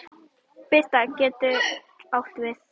Birta getur átt við